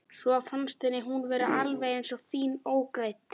Svo fannst henni hún vera alveg eins fín ógreidd.